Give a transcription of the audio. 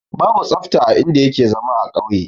Babu tsafta a in da yake zama a kauye